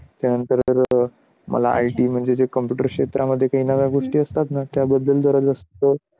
मला IT म्हणजे computer क्षेत्रामध्ये काही नव्या गोष्टी असतात ना त्याबद्दल जरा जास्त